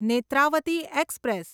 Netravati express